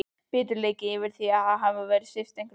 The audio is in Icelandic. Biturleiki yfir því að hafa verið svipt einhverju.